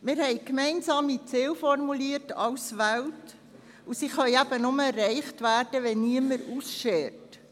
Wir haben weltweit gemeinsame Ziele formuliert, und diese können nur erreicht werden, wenn niemand ausschert.